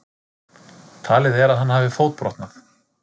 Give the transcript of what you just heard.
Talið er að hann hafi fótbrotnað